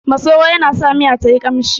Masoro yana sa miya tayi ƙamshi